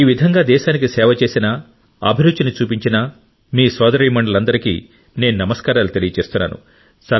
ఈ విధంగా దేశానికి సేవ చేసిన అభిరుచిని చూపించిన మీ సోదరీమణులందరికీ నేను నమస్కారాలు తెలియజేస్తున్నాను